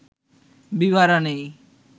বিভারা নেই